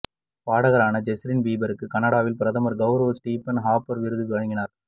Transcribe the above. பாடகரான Justin பிபருக்கு கனடாவின் பிரதமர் கௌரவ ஸ்ரீபன் ஹாப்பர் விருது வழங்கினார்